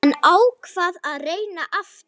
Hann ákvað að reyna aftur.